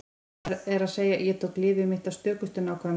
Það er að segja: Ég tók lyfið mitt af stökustu nákvæmni.